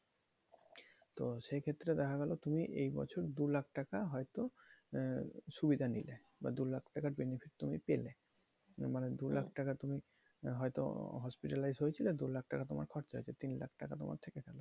তো সেক্ষেত্রে দেখা গেলো তুমি এই বছর দু লাখ টাকা হয়তো আহ সুবিধা নিলে বা দু লাখ টাকার benefit তুমি পেলে মানে দু লাখ টাকা তুমি হয়তো hospitalized হয়েছিলে দু লাখ টাকা তোমার খরচা হয়েছে তিন লাখ টাকা তোমার থেকে গেলো।